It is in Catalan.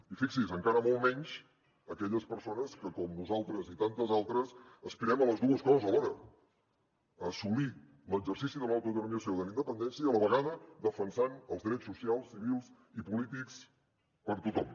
i fixi’s encara molt menys aquelles persones que com nosaltres i tantes altres aspirem a les dues coses alhora assolir l’exercici de l’autodeterminació de la independència i a la vegada defensant els drets socials civils i polítics per a tothom